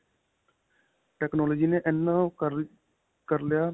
technology ਨੇ ਇਨਾਂ ਓਹ ਕਰ ਲਿਆ, ਕਰ ਲਿਆ